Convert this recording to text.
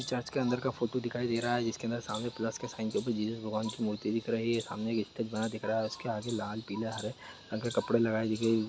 church के अंदर का फोटो दिखाई दे रहा है जिसके अंदर सामने प्लस के साईन के पीछे जीसस भगवान की मूर्ति दिख रही है सामने एक स्टेज बना दिख रहा है उसके आगे लाल पीला हरे रंग के कपड़े लगाईं दी गई --